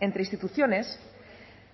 entre instituciones